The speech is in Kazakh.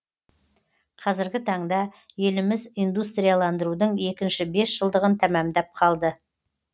қазіргі таңда еліміз индустрияландырудың екінші бес жылдығын тәмамдап қалды